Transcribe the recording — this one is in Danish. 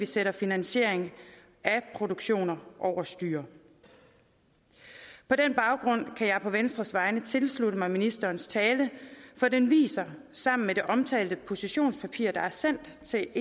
sætte finansieringen af produktioner over styr på den baggrund kan jeg på venstres vegne tilslutte mig ministerens tale for den viser sammen med det omtalte positionspapir der er sendt til